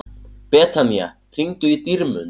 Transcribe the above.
Betanía, hringdu í Dýrmund.